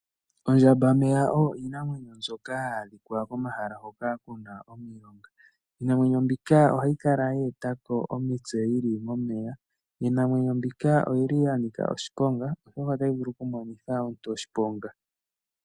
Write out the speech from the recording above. Ondjambameya oyo iinamwenyo mbyoka hayi adhika komahala hoka ku na omilonga. Iinamwenyo mbika ohayi kala ye eta ko omitse yi li momeya. Iinamwenyo mbika oyi li ya nika oshiponga, oshoka otayi vulu okumonitha omunyu oshiponga.